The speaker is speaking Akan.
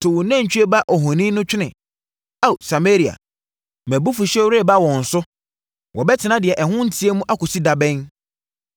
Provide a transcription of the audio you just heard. To wo nantwie ba ohoni no twene, Ao, Samaria! Mʼabufuhyeɛ reba wɔn so. Wɔbɛtena deɛ ɛho nteɛ mu, akɔsi da bɛn?